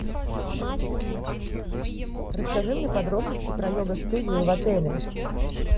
ассистент расскажи мне подробности про йога студию в отеле